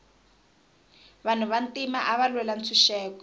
vanhu va ntima ava lwela ntshuxeko